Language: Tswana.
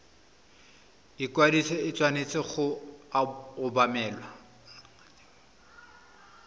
ikwadiso e tshwanetse go obamelwa